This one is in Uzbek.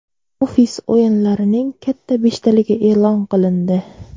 Ofis o‘yinlarining katta beshtaligi e’lon qilindi.